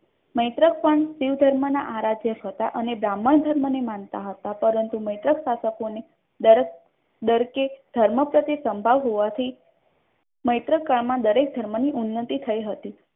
મૈત્રક પણ શિવ ધર્મના આરાધના છે અને બ્રાહ્મણ ધર્મને માનતા હતા પરંતુ મૈત્રક શાસકોને ડર કે ધર્મ પ્રત્યે સંભાવ હોવાથી મૈત્રકાળમાં દરેક ધર્મની ઉન્નતિ થઈ હતી.